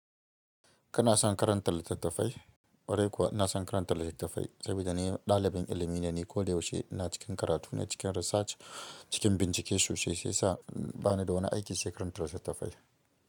Kana son karanta littattafai? Kwarai kuwa ina son karantar littattafai saboda ni ɗalibin ilimi ne, ni koda yaushe ina cikin karatu, ina cikin research, cikin bincike sosai shi yasa bana da wani aiki sai karanta litattafai.